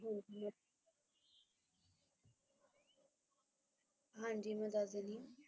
ਹਾਂਜੀ ਮੈਂ ਦੱਸ ਦੇਣੀ ਆ